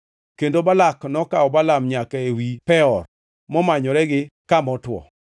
Kendo Balak nokawo Balaam nyaka ewi Peor, momanyore gi kama otwo.